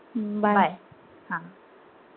हम्म bye हा